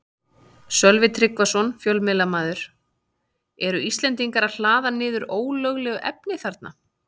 Sölvi Tryggvason, fjölmiðlamaður: Eru Íslendingar að hlaða niður ólöglegu efni þarna?